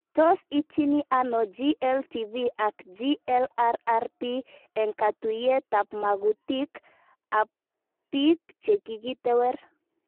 Tos itchini ano GLTV ak GLRRP eng'katuyet ab magutik ab pik che kikitewer